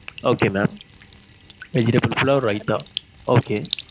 Okay mam vegetable pulav, raitha okay